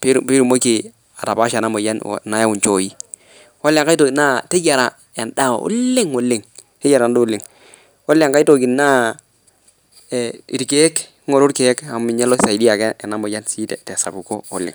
pitumoki atapasha ana moyan naimu nchooi ,kole nkae toki naa teyara endaa oleng, kole nkae toki naa ng'oru lkeek amu ninye loisadia ana moyian tesapuko oleg.